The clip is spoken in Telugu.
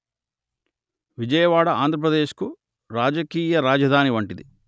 విజయవాడ ఆంధ్రప్రదేశ్ కు రాజకీయ రాజధాని వంటిది